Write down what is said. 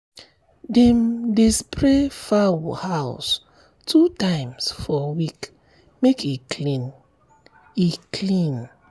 dem dey spray fowl house two times for week make e clean. e clean.